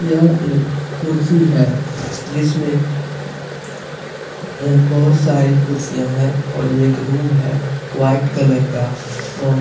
यह एक कुर्सी है जिसमें अ बहुत सारी कुर्सियाँ है और ये एक रूम है वाइट कलर का और --